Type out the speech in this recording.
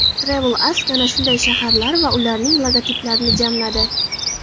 TravelAsk ana shunday shaharlar va ularning logotiplarini jamladi .